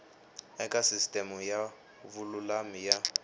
eka sisiteme ya vululami ya